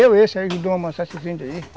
ajudou a amansar esses índios aí.